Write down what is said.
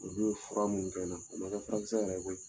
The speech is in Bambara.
Olu ye fura minnu kɛ n na, o ma kɛ furakisɛ yɛrɛ ye koyi!